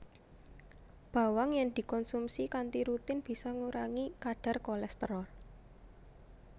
Bawang yèn dikonsumsi kanthi rutin bisa ngurangi kadhar kolèsterol